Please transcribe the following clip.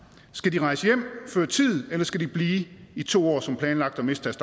skal de rejse hjem før tid eller skal de blive i to år som planlagt og miste